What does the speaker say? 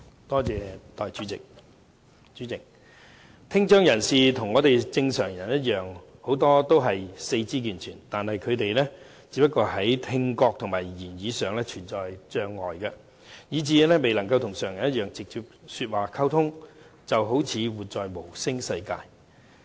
代理主席，很多聽障人士與正常人一樣，都是四肢健全，他們只不過是在聽覺和言語上存有障礙，以致未能與常人直接說話溝通，好像活在無聲世界中。